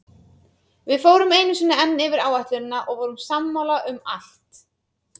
Við fórum einu sinni enn yfir áætlunina og vorum sammála um allt.